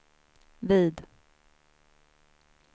vid